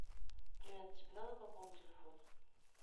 привет тебе надо пополнить телефон